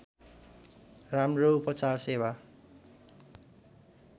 राम्रो उपचार सेवा